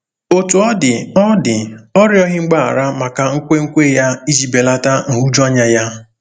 Otú ọ dị, ọ dị, ọ rịọghị mgbaghara maka nkwenkwe ya iji belata nhụjuanya ya.